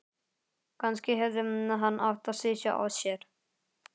Kannski hefði hann átt að sitja á sér.